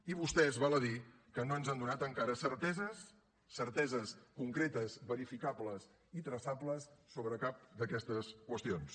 i vostès val a dir que no ens han donat encara certeses certeses concretes verificables i traçables sobre cap d’aquestes qüestions